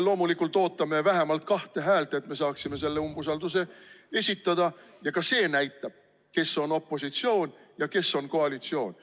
Loomulikult me ootame vähemalt kahte häält, et me saaksime selle umbusaldusavalduse esitada, ja ka see näitab, kes on opositsioonis ja kes on koalitsioonis.